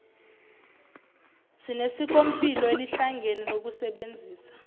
sinesikompilo elihlangene lokusebenzisa